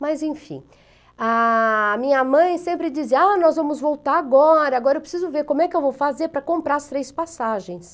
Mas enfim, a minha mãe sempre dizia, ah, nós vamos voltar agora, agora eu preciso ver como é que eu vou fazer para comprar as três passagens.